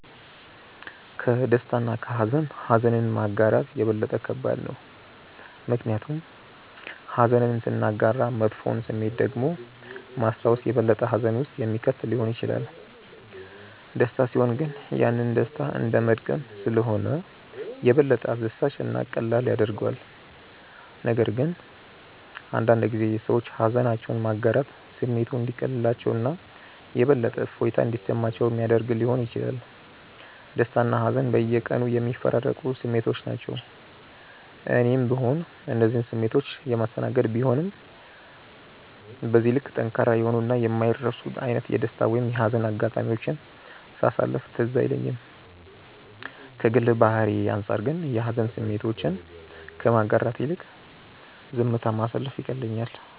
ከደስታ እና ከሃዘን ኀዘንን ማጋራት የበለጠ ከባድ ነው። ምክንያቱም ኀዘንን ስናጋራ መጥፎውን ስሜት ደግሞ ማስታወስ የበለጠ ሀዘን ውስጥ የሚከት ሊሆን ይችላል። ደስታ ሲሆን ግን ያንን ደስታ እንደመድገም ስለሆነ የበለጠ አስደሳች እና ቀላል ያደርገዋል፤ ነገር ግን አንዳንድ ጊዜ ሰዎች ሃዘናቸውን ማጋራት ስሜቱ እንዲቀልላቸው እና የበለጠ እፎይታ እንዲሰማቸው ሚያደረግ ሊሆን ይችላል። ደስታና ሀዘን በየቀኑ የሚፈራረቁ ስሜቶች ናቸው። እኔም ብሆን እነዚህን ስሜቶች የማስተናገድ ቢሆንም በዚህ ልክ ጠንካራ የሆኑ እና የማይረሱ አይነት የደስታ ወይም የሀዘን አጋጣሚዎችን ሳሳለፍ ትዝ አይለኝም። ከግል ባህሪዬ አንጻር ግን የሀዘን ስሜቶችን ከማጋራት ይልቅ ዝምታ ማሳለፍ ይቀለኛል።